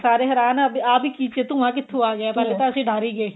ਅਸੀਂ ਵੀ ਸਾਰੇ ਹੈਰਾਨ ਹਾਂ ਵੀ ਆਹ ਕੀ ਚੀਜ਼ ਏ ਇਹ ਧੁੰਆ ਕਿੱਥੋਂ ਆ ਗਿਆ ਪਹਿਲਾਂ ਤਾਂ ਅਸੀਂ ਡਰ ਈ ਗਏ